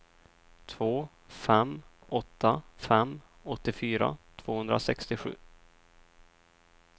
två fem åtta fem åttiofyra tvåhundrasextiosju